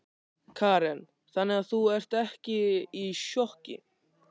Karen: Þannig að þú, ertu ekki í sjokki?